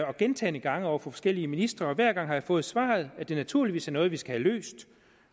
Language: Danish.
og gentagne gange over for forskellige ministre og hver gang har jeg fået svaret at det naturligvis er noget vi skal have løst